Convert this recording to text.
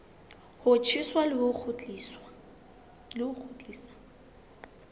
ho tjheswa le ho kgutliswa